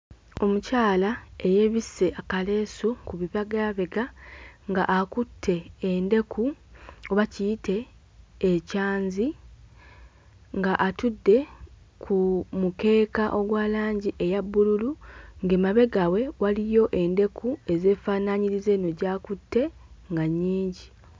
Omukyala eyeebisse akaleesu ku bibagaabega ng'akutte endeku oba kiyite ekyanzi ng'atudde ku mukeeka ogwa langi eya bbululu ng'emabega we waliyo endeku ezeefaanaanyiriza eno gy'akutte nga nnyingi.